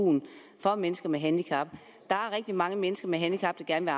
for mennesker med handicap der er rigtig mange mennesker med handicap der gerne